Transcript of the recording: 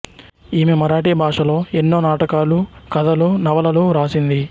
ఈమె మరాఠీ భాషలో ఎన్నో నాటకాలు కథలు నవలలు వ్రాసింది